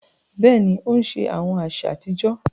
Béèni, o n ṣe awọn aṣa atijọ